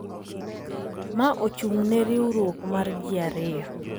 Ma ochung’ ne riwruok mar ji ariyo